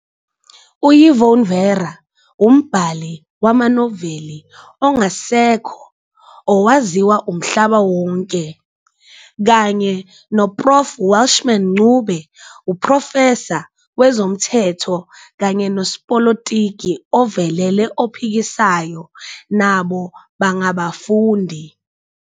UYvonne Vera, umbhali wamanoveli ongasekho owaziwa umhlaba wonke, kanye noProf Welshman Ncube, uprofesa wezomthetho kanye nosopolitiki ovelele ophikisayo, nabo bangabafundi.